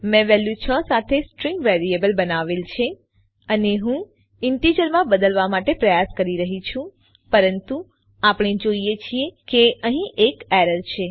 મેં વેલ્યુ 6 સાથે string variable બનાવેલ છે અને હું ઈન્ટીજરમાં બદલવા માટે પ્રયાસ કરી રહ્યી છું પરંતુ આપણે જોઈએ છીએ કે અહીં એરર છે